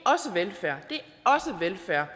er